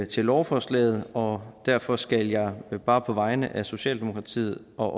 til lovforslaget og derfor skal jeg bare på vegne af socialdemokratiet og